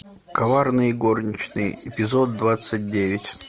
коварные горничные эпизод двадцать девять